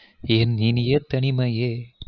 என் இனிய தனிமையே